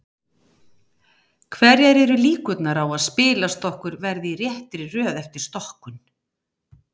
hverjar eru líkurnar á að spilastokkur verði í réttri röð eftir stokkun